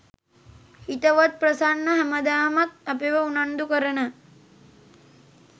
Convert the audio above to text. හිතවත් ප්‍රසන්න හැමදාමත් අපිව උනන්දුකරන